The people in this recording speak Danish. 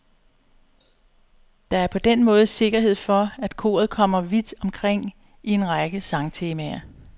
Der er på den måde sikkerhed for, at koret kommer vidt omkring i en række sangtemaer.